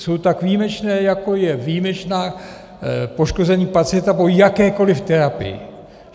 Jsou tak výjimečné, jako je výjimečné poškození pacienta po jakékoli terapii.